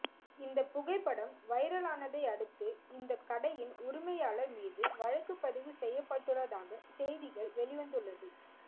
இந்த புகைப்படம் வைரல் ஆனதை அடுத்து இந்த கடையின் உரிமையாளர் மீது வழக்கு பதிவு செய்யப்பட்டுள்ளதாக செய்திகள் வெளிவந்துள்ளது